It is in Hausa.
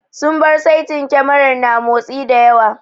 Sun bar saitin kyamarar na motsi da yawa.